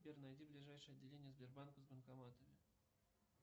сбер найди ближайшее отделение сбербанка с банкоматами